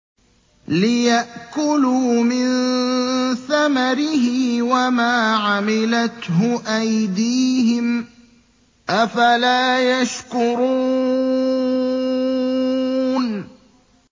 لِيَأْكُلُوا مِن ثَمَرِهِ وَمَا عَمِلَتْهُ أَيْدِيهِمْ ۖ أَفَلَا يَشْكُرُونَ